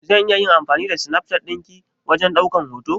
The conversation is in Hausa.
Zan iya amfani da Snapchat din ki wajen daukan hoto?